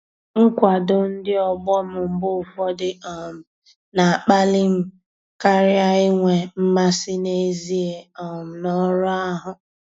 Nkwado ndị ọgbọ m mgbe ụfọdụ um na-akpali m karịa inwe mmasị n'ezie um n'ọrụ ahụ.